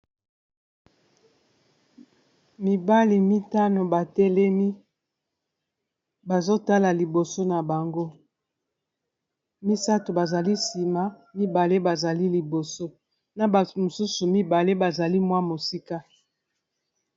Mibali mitano batelemi bazo tala liboso na bango misato bazali nsima mibale bazali liboso na batu mosusu mibale bazali mwa mosika.